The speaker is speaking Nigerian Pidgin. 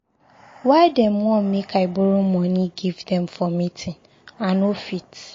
Why dem want make I borrow moni give dem for meeting? I no fit